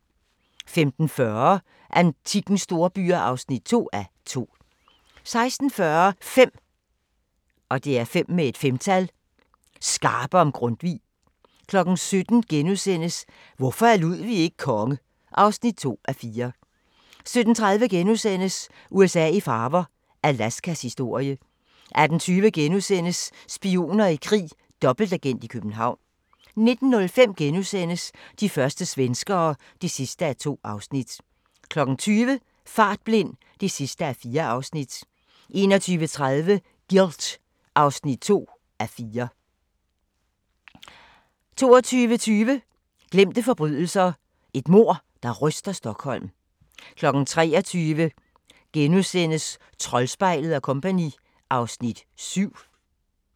15:40: Antikkens storbyer (2:2) 16:40: 5 skarpe om Grundtvig 17:00: Hvorfor er Ludwig ikke konge? (2:4)* 17:30: USA i farver – Alaskas historie * 18:20: Spioner i krig: Dobbeltagent i København * 19:05: De første svenskere (2:2)* 20:00: Fartblind (4:4) 21:30: Guilt (2:4) 22:20: Glemte forbrydelser - et mord, der ryster Stockholm 23:00: Troldspejlet & Co. (Afs. 7)*